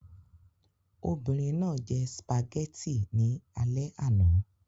Obìnrin náà jẹ spaghetti ní alẹ́ àná